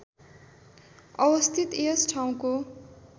अवस्थित यस ठाउँको